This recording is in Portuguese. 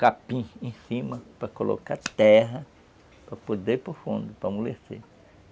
Capim em cima para colocar terra, para poder ir para o fundo, para amolecer.